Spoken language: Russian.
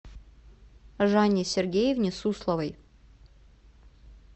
жанне сергеевне сусловой